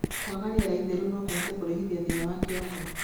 Kwaga rĩera itheru nokũhote kũrehithia thĩna wa kĩongo